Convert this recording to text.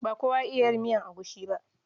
Ba kowa ya iya yin miyar egusi ba.